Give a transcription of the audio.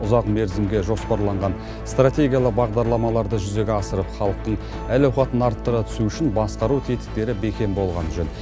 ұзақ мерзімге жоспарланған стратегиялы бағдарламаларды жүзеге асырып халықтың әл ауқатын арттыра түсу үшін басқару тетіктері бекем болғаны жөн